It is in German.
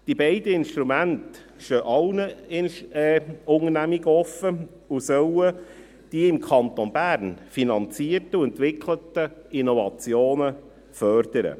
Diese beiden Instrumente stehen allen Unternehmungen offen und sollen die im Kanton Bern finanzierten und entwickelten Innovationen fördern.